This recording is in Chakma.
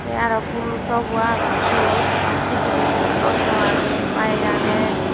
te aro phulo tawbo agon siyot te undi pijedi auto agey bayeg agey.